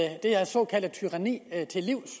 det her såkaldte tyranni til livs